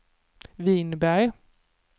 Vinberg